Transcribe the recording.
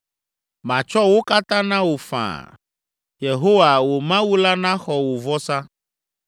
Matsɔ wo katã na wò faa. Yehowa, wò Mawu la naxɔ wò vɔsa.”